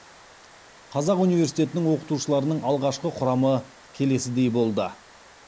қазақ университетінің оқытушыларының алғашқы құрамы келесідей болды